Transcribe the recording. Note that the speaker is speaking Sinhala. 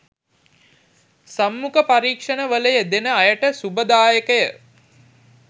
සම්මුඛ පරීක්ෂණවල යෙදෙන අයට ශුභදායකය